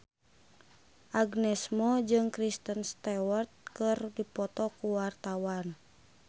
Agnes Mo jeung Kristen Stewart keur dipoto ku wartawan